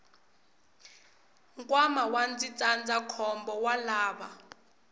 nkwama wa ndzindzakhombo wa lava